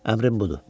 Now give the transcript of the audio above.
Əmrim budur.